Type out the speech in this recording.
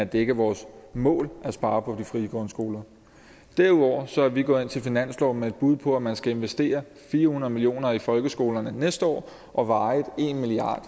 det er ikke vores mål at spare på de frie grundskoler derudover er vi gået ind til finansloven med et bud på at man skal investere fire hundrede million kroner i folkeskolerne næste år og varigt en milliard